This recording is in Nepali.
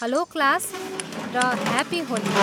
हलो क्लास, र ह्याप्पी होली!